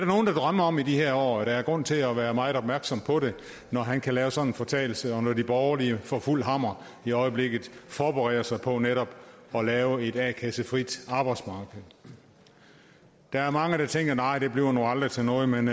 nogle der drømmer om i de her år og der er grund til at være meget opmærksom på det når han kan lave sådan en fortalelse og når de borgerlige for fuld hammer i øjeblikket forbereder sig på netop at lave et a kassefrit arbejdsmarked der er mange der tænker nej det bliver nu aldrig til noget men